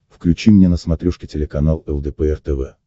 включи мне на смотрешке телеканал лдпр тв